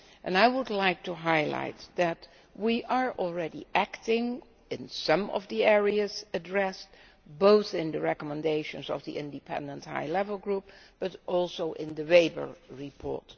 I would like to point out that we are already acting on some of the areas addressed both in the recommendations of the independent high level group and in the Weber report.